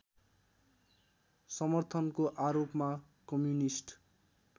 समर्थनको आरोपमा कम्युनिस्ट